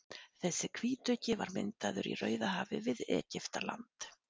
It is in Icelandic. Þessi hvítuggi var myndaður í Rauðahafi við Egyptaland.